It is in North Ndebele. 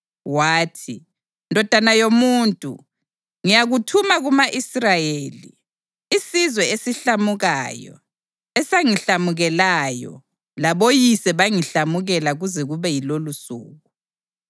Wathi, “Ndodana yomuntu, ngiyakuthuma kuma-Israyeli, isizwe esihlamukayo esangihlamukelayo, laboyise bangihlamukela kuze kube yilolusuku.